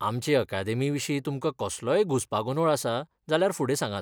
आमचे अकादेमीविशीं तुमकां कसलोय घुसपागोंदोळ आसा, जाल्यार फुडें सांगात.